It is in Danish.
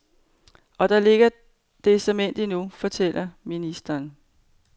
Og der ligger det såmænd endnu, fortæller ministeren.